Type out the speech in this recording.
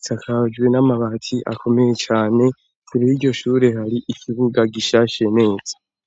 isakajwe n'amabati akomeye cane kure y'iryo shure hari ikibuga gishashe neza.